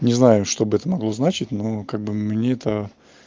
не знаю что бы это могло значить ну как бы мне это